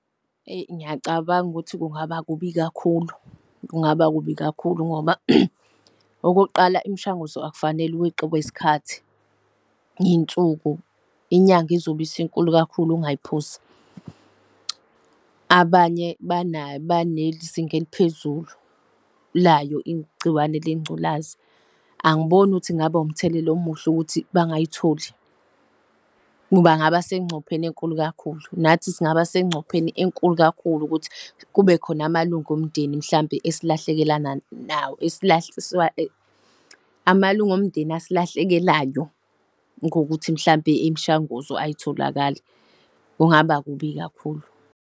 Ngiyacabanga ukuthi kungaba kubi kakhulu, kungaba kubi kakhulu ngoba okokuqala imishanguzo akufanele weqiwe isikhathi, ney'nsuku inyanga izobe isinkulu kakhulu ungayiphuzi. Abanye banezinga eliphezulu layo igciwane lengculazi. Angiboni ukuthi kungaba umthelela omuhle ukuthi bangayitholi bangaba sengcupheni enkulu kakhulu nathi singaba sengcupheni enkulu kakhulu ukuthi kube khona amalunga omndeni mhlawumpe esilahlekelana nawo amalungu omndeni esilahlekelayo ngokuthi mhlawumpe imishanguzo ayitholakali. Kungaba kubi kakhulu.